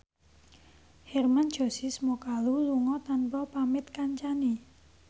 Hermann Josis Mokalu lunga tanpa pamit kancane